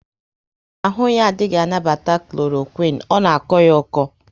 Ahụ ya adịghị anabata Kloroquine, ọ na akọ ya oko